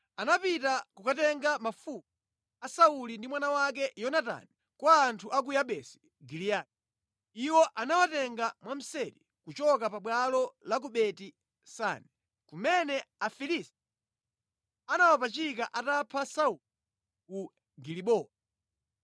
anapita kukatenga mafupa a Sauli ndi mwana wake Yonatani kwa anthu a ku Yabesi Giliyadi (iwo anawatenga mwamseri kuchoka pabwalo la ku Beti-Sani, kumene Afilisti anawapachika atapha Sauli ku Gilibowa).